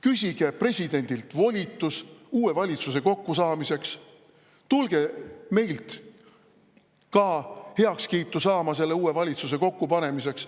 Küsige presidendilt volitus uue valitsuse ja tulge meilt ka heakskiitu saama selle uue valitsuse kokkupanemiseks.